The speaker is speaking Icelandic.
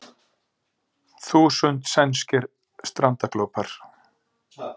Þúsund sænskir strandaglópar